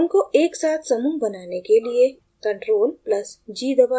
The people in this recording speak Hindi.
उनको एक साथ समूह बनाने के लिए ctrl + g दबाएं